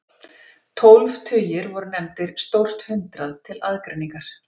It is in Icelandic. tólf tugir voru nefndir „stórt hundrað“ til aðgreiningar